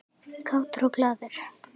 Kátur og glaður.